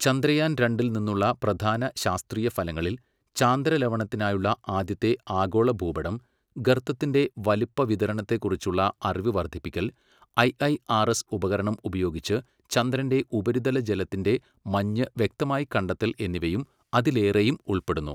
ചന്ദ്രയാൻ രണ്ടിൽ നിന്നുള്ള പ്രധാന ശാസ്ത്രീയ ഫലങ്ങളിൽ, ചാന്ദ്ര ലവണത്തിനായുള്ള ആദ്യത്തെ ആഗോള ഭൂപടം, ഗർത്തത്തിന്റെ വലുപ്പ വിതരണത്തെക്കുറിച്ചുള്ള അറിവ് വർധിപ്പിക്കൽ, ഐഐആർഎസ് ഉപകരണം ഉപയോഗിച്ച് ചന്ദ്രന്റെ ഉപരിതല ജലത്തിന്റെ മഞ്ഞ് വ്യക്തമായി കണ്ടെത്തൽ എന്നിവയും അതിലേറെയും ഉൾപ്പെടുന്നു.